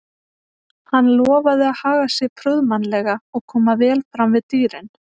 Hann lofaði að haga sér prúðmannlega og koma vel fram við dýrin.